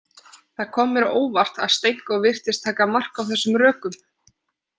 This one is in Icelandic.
Það kom mér á óvart að Stenko virtist taka mark á þessum rökum.